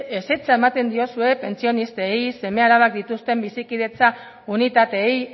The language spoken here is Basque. ezetza ematen diozue pentsionistei seme alabak dituzten bizikidetza unitateei